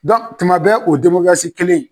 tuma bɛɛ o kelen